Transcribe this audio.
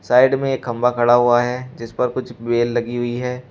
Side में ये खंबा खड़ा हुआ है जिस पर कुछ बेल लगी हुई है।